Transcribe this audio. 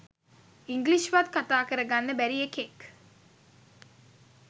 English වත් කතා කර ගන්න බැරි එකෙක්.